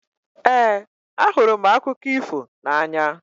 Ee, ahụrụ m akụkọ ifo n'anya